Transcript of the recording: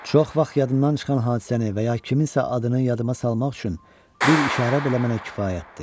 Çox vaxt yadımdan çıxan hadisəni və ya kiminsə adını yadıma salmaq üçün bir işarə belə mənə kifayətdir.